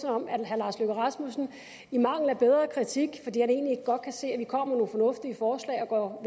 om herre lars løkke rasmussen i mangel af bedre kritik fordi han egentlig godt kan se at vi kommer med nogle fornuftige forslag og